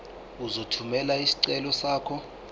uzothumela isicelo sakho